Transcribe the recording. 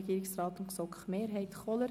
Regierungsrat/ GSoK-Mehrheit vor.